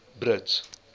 brits